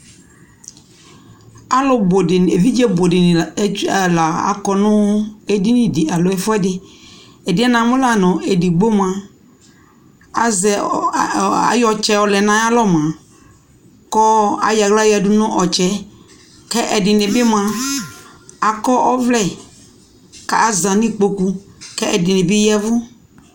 alʋ bʋ dini ɛvidzɛ bʋ dini la akɔ nʋ ɛdini di alɔ ɛƒʋɛdi, ɛdiɛ namʋ lanʋ ɛdigbɔ mʋa azɛ, ayɔ ɔtsɛ yɔ lɛnʋ ayialɔ mʋa kʋ ayɔ ɛlʋ yɔ yadʋ nʋ ɔtsɛɛ kʋ ɛdini bi mʋa akɔ ɔvlɛ kʋ aza nʋ ikpɔkʋ kʋ ɛdini bi yavʋ